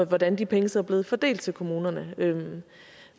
hvordan de penge så er blevet fordelt til kommunerne men